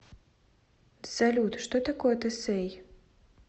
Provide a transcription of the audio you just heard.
салют что такое тесей